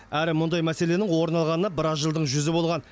әрі мұндай мәселенің орын алғанына біраз жылдың жүзі болған